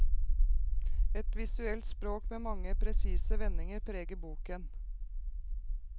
Et visuelt språk med mange presise vendinger preger boken.